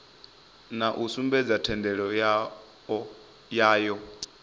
na u sumbedza thendelo yayo